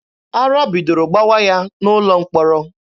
Ara bidoro gbawa ya n'ụlọ mkpọrọ.